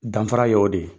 Danfara y'o de ye